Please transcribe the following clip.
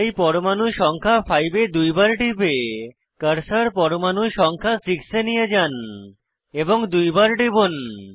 তাই পরমাণু সংখ্যা 5 এ দুইবার টিপে কার্সার পরমাণু সংখ্যা 6 এ নিয়ে যান এবং দুইবার টিপুন